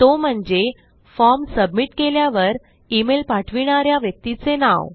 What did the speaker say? तो म्हणजे form submit केल्यावर इमेल पाठविणा या व्यक्तीचे नाव